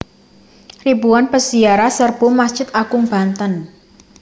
Ribuan Peziarah Serbu Masjid Agung Banten